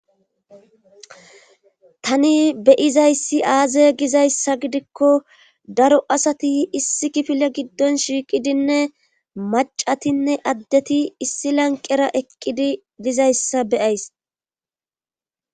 tani beyizayssi aaze gizayssa gidikko daro asati issi kifile giddon shiiqidinne macatinne addeti issi lanqera eqqidi dizayssa beyays